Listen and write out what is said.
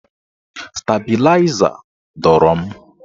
Stabịlaịza dọrọ m.